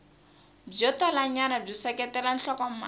byo talanyana byi seketela nhlokomhaka